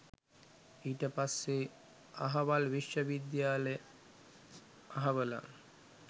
ඊට පස්සෙ අහවල් විශ්ව විද්‍යාලෙ අහවලා